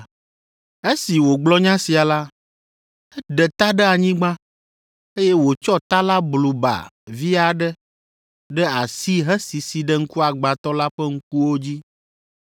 Esi wògblɔ nya sia la, eɖe ta ɖe anyigba, eye wòtsɔ ta la blu ba vi aɖe ɖe asi hesisi ɖe ŋkuagbãtɔ la ƒe ŋkuwo dzi.